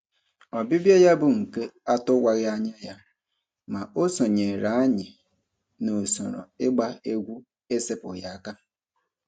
Ọbịbịa ya bụ nke atụwaghị anya ya, ma o sonyeere anyị n'usoro ịgba egwu esepụghị aka.